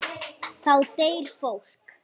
Þá deyr fólk.